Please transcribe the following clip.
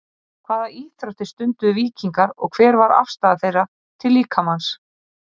hvaða íþróttir stunduðu víkingar og hver var afstaða þeirra til líkamans